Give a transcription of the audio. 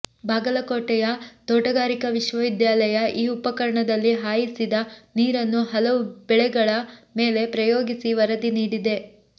ಬಾಗಲಕೋಟೆಯ ತೋಟಗಾರಿಕಾ ವಿಶ್ವವಿದ್ಯಾಲಯ ಈ ಉಪಕರಣದಲ್ಲಿ ಹಾಯಿಸಿದ ನೀರನ್ನು ಹಲವು ಬೆಳೆಗಳ ಮೇಲೆ ಪ್ರಯೋಗಿಸಿ ವರದಿ ನೀಡಿದೆ